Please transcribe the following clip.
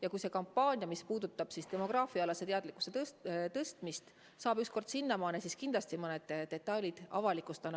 Ja kui see kampaania, mis puudutab demograafiaalase teadlikkuse tõstmist, saab ükskord sinnamaale, siis kindlasti ma need detailid avalikustan.